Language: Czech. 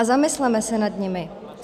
A zamysleme se nad nimi.